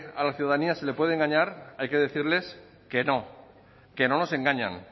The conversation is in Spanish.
a la ciudadanía se le puede engañar hay que decirles que no que no nos engañan